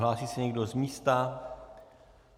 Hlásí se někdo z místa?